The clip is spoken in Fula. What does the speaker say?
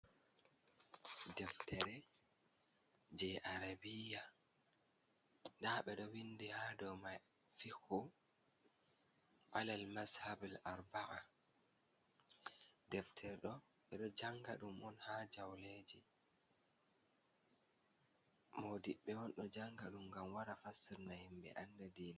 Deftere jei arabiya. Nda ɓe ɗo windi ha dou mai fikhu alal mashabal arba'a. Deftere ɗo ɓe ɗo janga ɗum on ha jauleeji. Modiɓɓe on ɗo janga ɗum ngam wara fassirna himɓe anda diina.